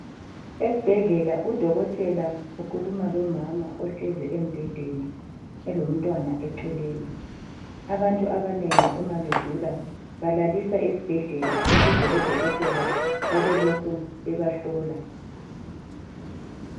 Esbhedlela udokotela ukhuluma lomama ohlezi embhedeni elomntwana eceleni. Abantu abanengi uma begula balaliswa esbhedlela ukuze odokotela babelokhu bebahlola.